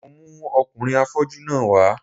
Mo mú ọkùnrin afọ́jú náà wá